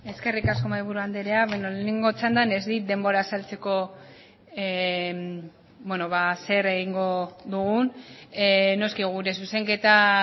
eskerrik asko mahaiburu andrea beno lehenengo txandan ez dit denbora azaltzeko bueno zer egingo dugun noski gure zuzenketa